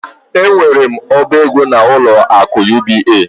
Enwere m oba ego n'ụlọ akụ UBA.